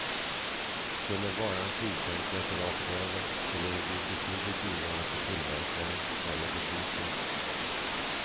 Skulle varan prissänkas rakt över, skulle det bli betydligt dyrare för tillverkaren eller butiken.